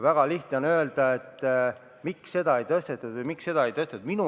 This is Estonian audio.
Väga lihtne on öelda, et miks seda summat ei suurendatud või miks seda teist summat ei suurendatud.